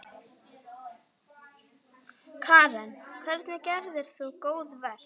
Karen: Hvernig gerðir þú góðverk?